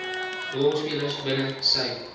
rolspelers binne sy